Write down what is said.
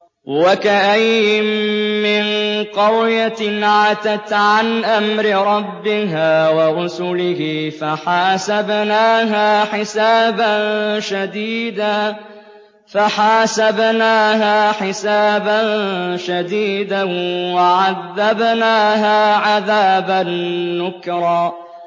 وَكَأَيِّن مِّن قَرْيَةٍ عَتَتْ عَنْ أَمْرِ رَبِّهَا وَرُسُلِهِ فَحَاسَبْنَاهَا حِسَابًا شَدِيدًا وَعَذَّبْنَاهَا عَذَابًا نُّكْرًا